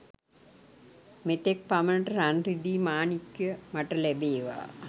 මෙතෙක් පමණට රන් රිදී මාණික්‍යය මට ලැබේවා.